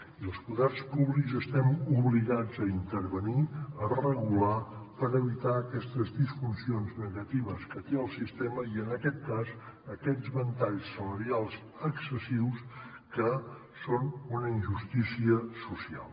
i els poders públics estem obligats a intervenir a regular per evitar aquestes disfuncions negatives que té el sistema i en aquest cas aquests ventalls salarials excessius que són una injustícia social